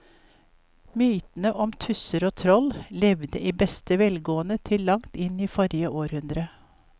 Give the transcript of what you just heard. Mytene om tusser og troll levde i beste velgående til langt inn i forrige århundre.